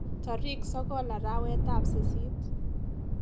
Tarik sokol arawetap sisit.